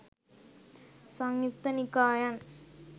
සංයුක්ත නිකායන්